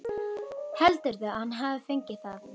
Heldurðu að hann hafi fengið það?